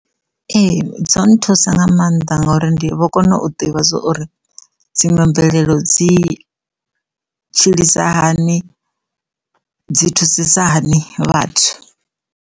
Ee dzo nthusa nga maanḓa ngori ndi vho kone u ḓivha zwa uri dziṅwe mvelelo dzi tshilisa hani dzi thusisa hani vhathu.